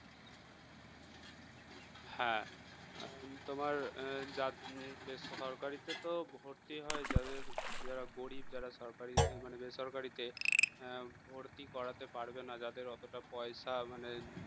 হ্যাঁ এখন তোমার জাত~ বেসরকারিতে তো ভর্তি হয় যাদের যারা গরিব যারা সরকারি মানে বেসরকারিতে ভর্তি করাতে পারবে না যাদের অতটা পয়সা মানে